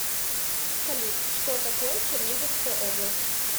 салют что такое черниговская область